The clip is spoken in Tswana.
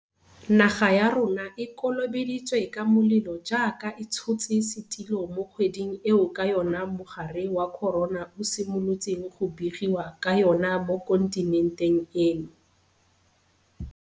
Naga ya rona e kolobeditswe ka molelo jaaka e tshotse setulo mo kgweding eo ka yona mogare wa corona o simolotseng go begiwa ka yona mo kontinenteng eno.